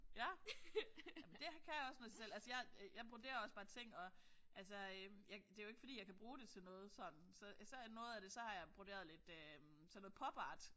Ja jamen det kan også noget i sig selv. Altså jeg jeg broderer også bare ting og altså jeg det jo ikke fordi jeg kan bruge det til noget sådan. Så jeg noget af det så har jeg broderet lidt sådan noget pop art